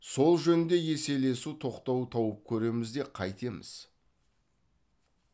сол жөнінде еселесу тоқтау тауып көреміз де қайтеміз